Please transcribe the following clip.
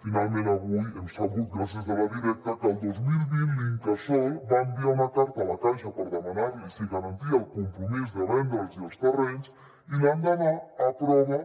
finalment avui hem sabut gràcies a la directa que el dos mil vint l’incasòl va enviar una carta a la caixa per demanar li si garantia el compromís de vendre’ls hi els terrenys i l’endemà aprova